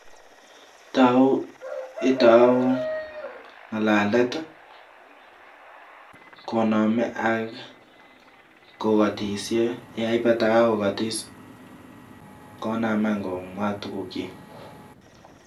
Itou ng'alalet ii konome ak kokotisye yeibata kakokotis, konam any komwa tuguk kyik.